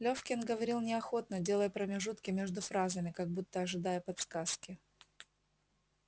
лефкин говорил неохотно делая промежутки между фразами как будто ожидая подсказки